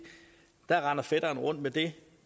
at fætteren render rundt med det